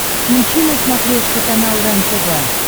включи на смотрешке канал рентв